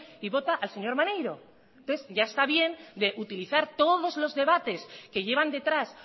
y vota al señor maneiro entonces ya está bien de utilizar todos los debates que llevan detrás